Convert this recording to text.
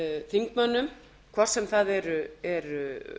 þingmönnum hvort sem það eru